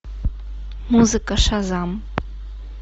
музыка шазам